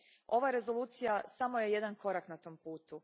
Ova rezolucija samo je jedan korak na tom putu.